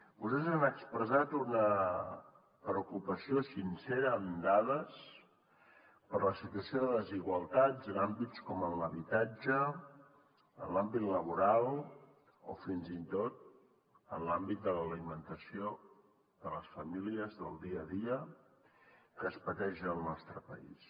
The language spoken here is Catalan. vostès han expressat una preocupació sincera amb dades per la situació de desigualtats en àmbits com l’habitatge en l’àmbit laboral o fins i tot en l’àmbit de l’alimentació de les famílies del dia a dia que es pateix al nostre país